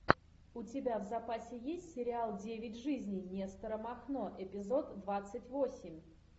у тебя в запасе есть сериал девять жизней нестора махно эпизод двадцать восемь